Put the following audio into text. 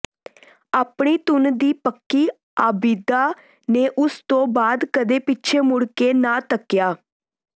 ਆਪਣੀ ਧੁਨ ਦੀ ਪੱਕੀ ਆਬਿਦਾ ਨੇ ਉਸ ਤੋਂ ਬਾਅਦ ਕਦੇ ਪਿੱਛੇ ਮੁੜ ਕੇ ਨਾ ਤੱਕਿਆ